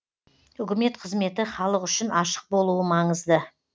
үкімет қызметі халық үшін ашық болуы маңызды